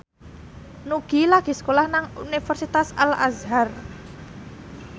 Nugie lagi sekolah nang Universitas Al Azhar